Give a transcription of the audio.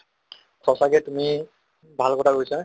সঁচাকে তুমি ভাল কথা কৈছা